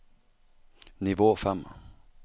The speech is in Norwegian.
nivå fem